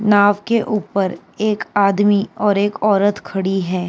नाव के ऊपर एक आदमी और एक औरत खड़ी है।